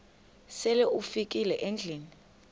sele ufikile endlwini